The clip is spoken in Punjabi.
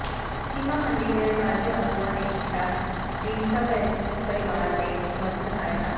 ਚੀਮਾ ਮੰਡੀ ਦੇ ਅਕਾਲੀ ਆਗੂਆਂ ਨੇ ਕੀਤਾ ਢੀਂਡਸਾ ਪਰਿਵਾਰ ਦੇ ਸਮਰਥਨ ਦਾ ਐਲਾਨ